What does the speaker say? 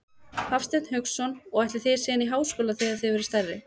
Hafsteinn Hauksson: Og ætlið þið síðan í háskóla þegar þið verðið stærri?